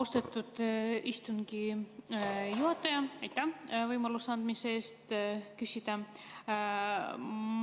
Austatud istungi juhataja, aitäh võimaluse eest küsida!